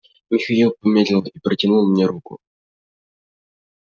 михаил помедлил и протянул мне руку